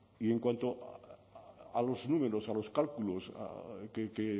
y en cuanto a los números a los cálculos que